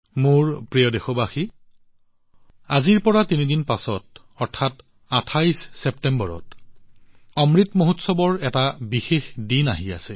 মোৰ মৰমৰ দেশবাসীসকল আজিৰ পৰা তিনিদিন পিছত অৰ্থাৎ ২৮ ছেপ্টেম্বৰত অমৃত মহোৎসৱৰ এটা বিশেষ দিন আহি আছে